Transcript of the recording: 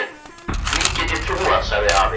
Því get ég trúað, sagði afi.